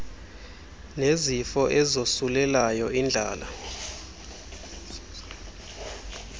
nezifo ezosulelayo indlala